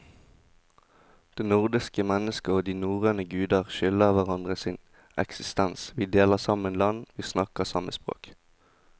Det nordiske mennesket og de norrøne guder skylder hverandre sin eksistens, vi deler samme land, vi snakker samme språk.